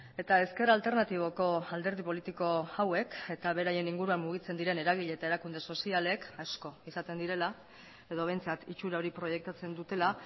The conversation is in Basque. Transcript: eta ezker alternatiboko alderdi politiko hauek eta beraien inguruan mugitzen diren eragile eta erakunde sozialek asko izaten direla edo behintzat itxura hori proiektatzen dutela